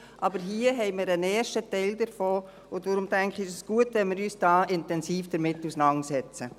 Aber hier haben wir einen ersten Teil davon, und deswegen denke ich, ist es gut, wenn wir uns intensiv damit auseinandersetzen.